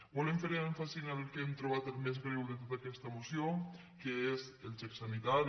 volem fer èmfasi en el que hem trobat el més greu de tota aquesta moció que és el xec sanitari